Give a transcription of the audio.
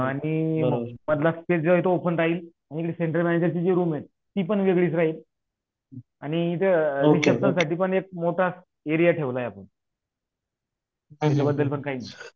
आणि मधल स्पेसजे ओपन राहील आणि सेंटर एरियाची जी रूम राहील ती पण वेगळीच राहीन आणि जे साठीपण एक मोठा एक मोठा एरिया ठेवला आहे आपण त्याच्याबद्दलपण काही नाही